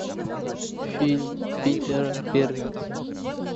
фильм питера берга